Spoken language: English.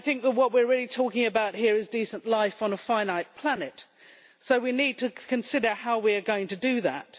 What we are really talking about here is decent life on a finite planet, so we need to consider how we are going to do that.